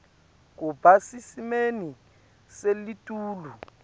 kuba sesimeni selitulu